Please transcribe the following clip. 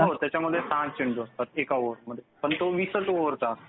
हो त्याच्यामध्ये एका ओव्हरमध्ये सहाच चेंडू फेकले जातात. पण तो वीसच ओव्हरचा असतो.